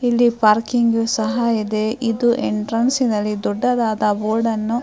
ಇಲ್ಲಿ ಪಾರ್ಕಿಂಗ್ ಸಹ ಇದೆ ಇದು ಎಂಟ್ರನ್ಸ್ ಅಲ್ಲಿ ದೊಡ್ಡದಾದ ಬೋರ್ಡ್ ಅನ್ನು --